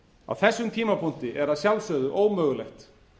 á þessum tímapunkti er að sjálfsögðu ómögulegt